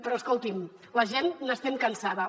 però escoltin la gent n’estem cansats